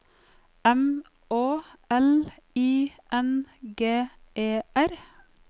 M Å L I N G E R